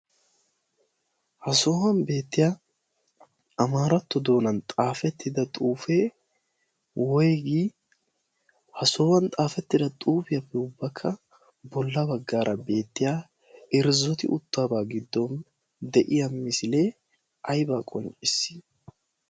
ha sohuwan beettiya amaaratto doonan xaafettida xuufee woygi ha sohuwan xaafettida xuufiyaappe ubbakka bolla baggaara beettiya irzzoti uttabaa giddon deyiya misilee aybaa qonccissiis.